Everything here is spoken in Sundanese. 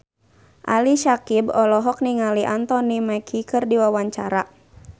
Ali Syakieb olohok ningali Anthony Mackie keur diwawancara